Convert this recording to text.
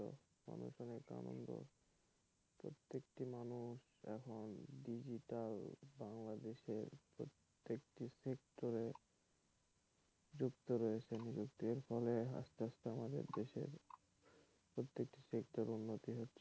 মানুষ এখন digital বাংলাদেশের প্রতেকটি সেক্টরে যুক্ত রয়েছেএর ফলে আস্তে আস্তে আমাদের দেশের প্রতিটি সেক্টরে উন্নতি হচ্ছে।